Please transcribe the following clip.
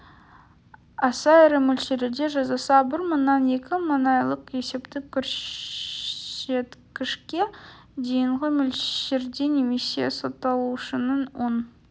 аса ірі мөлшерде жасаса бір мыңнан екі мың айлық есептік көрсеткішке дейінгі мөлшерде немесе сотталушының он